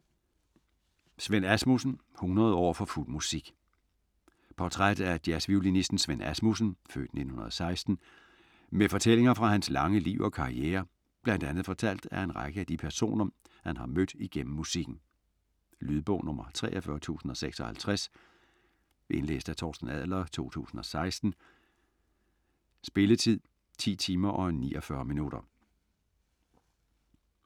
Svend Asmussen: 100 år for fuld musik Portræt af jazzviolinisten Svend Asmussen (f. 1916) med fortællinger fra hans lange liv og karriere bl.a. fortalt af en række af de personer han har mødt igennem musikken. Lydbog 43056 Indlæst af Torsten Adler, 2016. Spilletid: 10 timer, 49 minutter.